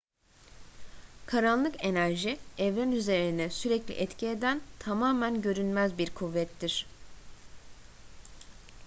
karanlık enerji evren üzerine sürekli etki eden tamamen görünmez bir kuvvettir